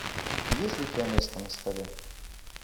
есть ли у тебя место на столе